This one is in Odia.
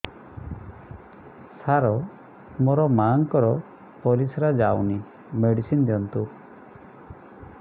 ସାର ମୋର ମାଆଙ୍କର ପରିସ୍ରା ଯାଉନି ମେଡିସିନ ଦିଅନ୍ତୁ